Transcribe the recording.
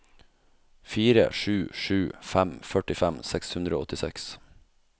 fire sju sju fem førtifem seks hundre og åttiseks